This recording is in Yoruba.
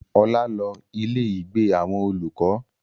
Ọlá lọ ilé ìgbé àwọn olùkọ́